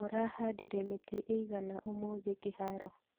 Mũrahandire mĩtĩ ĩigana ũmũthĩ kĩharo